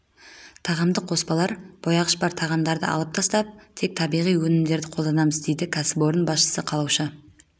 тағамдық қоспалар бояғыштар бар тағамдарды алып тастап тек табиғи өнімдерді қолданамыз дейді кәсіпорын басшысы калауша